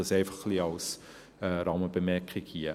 Dies einfach ein wenig als Rahmenbemerkung hier.